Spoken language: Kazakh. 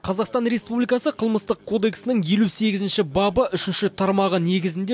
қазақстан республикасы қылмыстық кодексінің елу сегізінші бабы үшінші тармағы негізінде